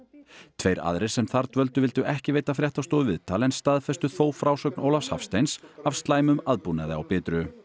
tveir aðrir sem þar dvöldu vildu ekki veita fréttastofu viðtal en staðfestu þó frásögn Ólafs Hafsteins af slæmum aðbúnaði á Bitru